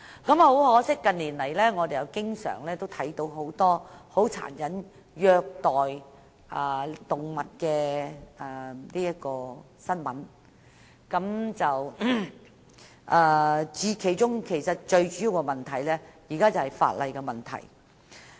很可惜，近年來，我們經常看到很多有關殘忍虐待動物的新聞，而最主要是法例的問題。